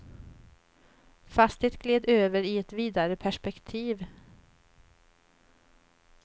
Fast det gled över i ett vidare perspektiv.